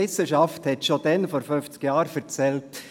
Die Wissenschaft hat es schon vor 50 Jahren gesagt: